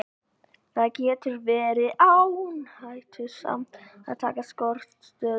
Það getur því verið áhættusamt að taka skortstöðu.